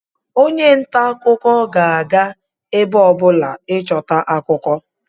onye nta akụkọ ga-aga ebe ọbụla ịchọta akụkọ